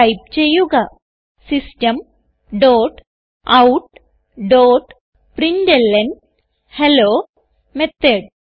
type ചെയ്യുക system dot out dot println hello method